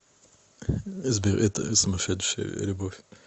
сбер это сумасшедшая любовь